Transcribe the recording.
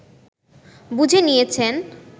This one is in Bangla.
বুঝে নিয়েছেন